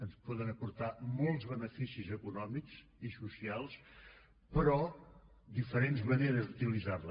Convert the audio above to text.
ens poden aportar molt beneficis econòmics i socials però diferents maneres d’utilitzar les